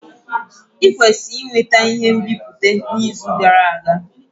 I kwesiri iweta ihe nbipute n'izu gara aga.